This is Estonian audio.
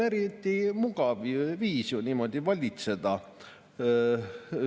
Eriti mugav viis on ju niimoodi valitseda.